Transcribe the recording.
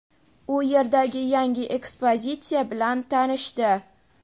u yerdagi yangi ekspozitsiya bilan tanishdi.